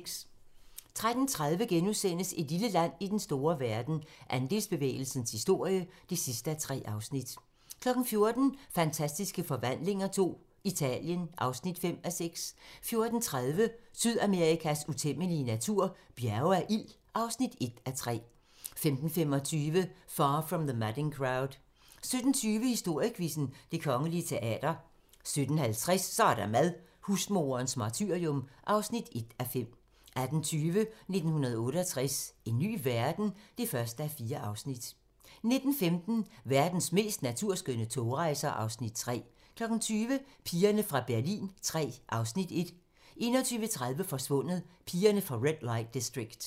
13:30: Et lille land i den store verden - Andelsbevægelsens historie (3:3)* 14:00: Fantastiske Forvandlinger II - Italien (5:6) 14:30: Sydamerikas utæmmelige natur - Bjerge af ild (1:3) 15:25: Far From the Madding Crowd 17:20: Historiequizzen: Det Kongelige Teater 17:50: Så er der mad - husmoderens martyrium (1:5) 18:20: 1968 - en ny verden? (1:4) 19:15: Verdens mest naturskønne togrejser (Afs. 3) 20:00: Pigerne fra Berlin III (Afs. 1) 21:30: Forsvundet: Pigerne fra Red Light District